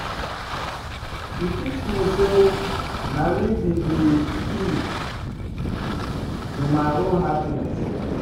She teach me sey na me be di key to my own happiness.